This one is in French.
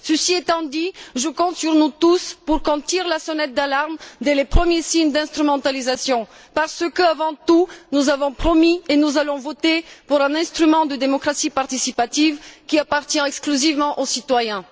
Ceci étant dit, je compte sur nous tous pour tirer la sonnette d'alarme dès les premiers signes d'instrumentalisation parce que, avant tout, nous avons promis et nous allons voter pour un instrument de démocratie participative qui appartient exclusivement aux citoyens.